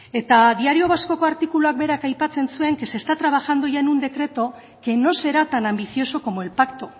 eta diario vascoko artikuluak berak aipatzen zuen que se está trabajando ya en un decreto que no será tan ambicioso como el pacto